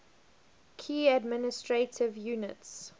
key administrative units